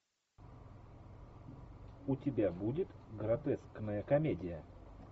у тебя будет гротескная комедия